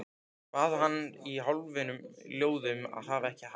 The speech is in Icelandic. Bað hana í hálfum hljóðum að hafa ekki hátt.